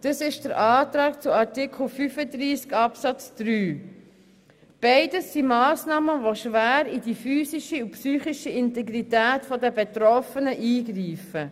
Beide Massnahmen greifen schwer in die psychische und physische Integrität der Betroffenen ein.